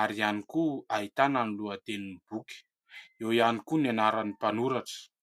ary ihany koa ahitana ny lohatenin'ny boky. Eo ihany koa ny anaran'ny mpanoratra.